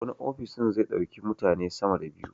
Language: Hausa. Wani ofis ɗin zai ɗauki mutane sama da biyu